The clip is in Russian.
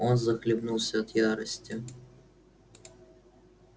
он захлебнулся от ярости